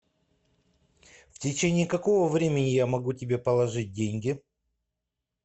в течение какого времени я могу тебе положить деньги